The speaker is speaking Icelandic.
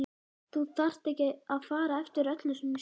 Þú þarft ekki að fara eftir öllu sem ég segi